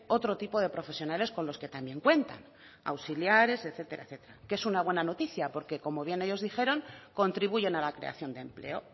otro tipo de profesionales con los que también cuentan auxiliares etcétera etcétera que es una buena noticia porque como bien ellos dijeron contribuyen a la creación de empleo